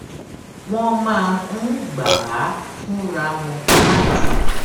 wón máa ń gbà á fúnra wọn láti